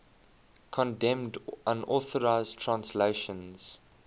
condemned unauthorized translations